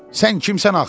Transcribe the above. Sən kimsən axı?